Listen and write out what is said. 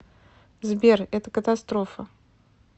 сбер это катастрофа